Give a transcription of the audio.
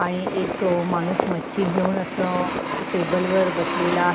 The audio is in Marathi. आणि एक माणूस मच्छी घेऊन अस टेबलवर बसलेला --